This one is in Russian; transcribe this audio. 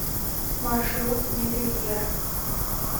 маршрут мебельеро